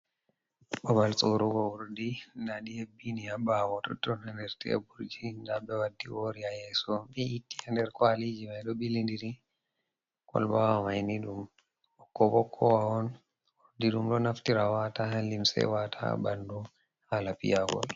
Ɓaɓal sorrugo urɗi, nɗaɗi heɓini ha ɓawo totto ni. Ha nɗer teɓurgin. Nɗa ɓe waɗɗi wori ha yeso. Ɓe iti ha nɗer kawaliji mai ɗo bilinɗiri. Kolɓa wa maini ɗum ɓokko ɓokkowa on. Urɗi ɗum ɗo naftira wata ha limse, e wata ha balɗu hala piyagol.